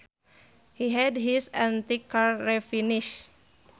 He had his antique car refinished